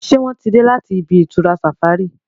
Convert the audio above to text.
ṣe wón tí dé láti ibi-itura safari?